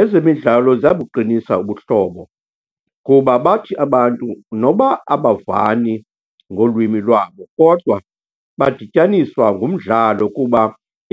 Ezemidlalo ziyabuqinisa ubuhlobo kuba bathi abantu noba abavani ngolwimi lwabo, kodwa badityaniswa ngumdlalo kuba